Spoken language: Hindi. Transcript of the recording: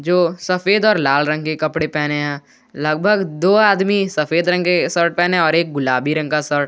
दो सफेद और लाल रंग के कपड़े पहने हैं लगभग दो आदमी सफेद रंग के शर्ट पहने हैं और एक गुलाबी रंग का --